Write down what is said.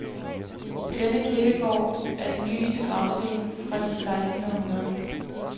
På denne kirkegård er den nyeste gravsten fra det sekstende århundrede.